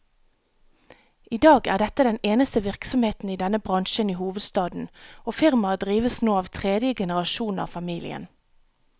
I dag er dette den eneste virksomheten i denne bransjen i hovedstaden, og firmaet drives nå av tredje generasjon av familien.